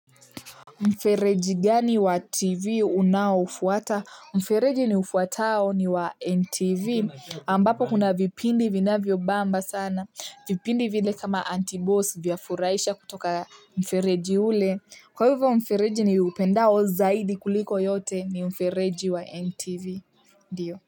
Mfereji gani wa TV unaofuata? Mfereji ufuatao ni wa NTV ambapo kuna vipindi vinavyobamba sana. Vipindi vile kama anti-boss vyafurahisha kutoka mfereji ule. Kwa hivyo mfereji niupendao zaidi kuliko yote ni mfereji wa NTV. Ndiyo.